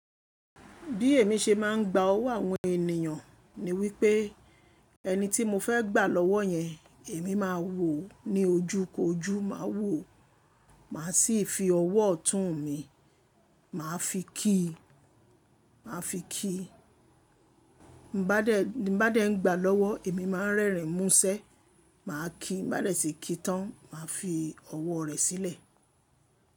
Bí èmi ṣe máa ń gba ọwọ́ àwọn ènìyàn ni wípé ẹni tí mo fẹ́ gbà lọ́wọ́ yẹn, èmi máa wò ó ní ojú kojú, máa wò ó, màá sì fi ọwọ́ ọ̀tún mi, màá fi kí i, màá fi kí i. Bi n ba dẹ́ n gbà lọ́wọ́, èmi máa ń rẹ́rìn músẹ́, mà á kí i. Bi n na dẹ tì kí i tán, mà á fi ọwọ́ rẹ sílẹ̀